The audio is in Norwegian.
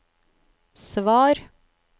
svar